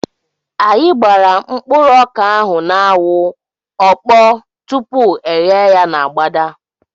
Anyị gbara mkpụrụ ọka ahụ n'anwụ, ọ kpọọ tupu e ghee ya n'agbada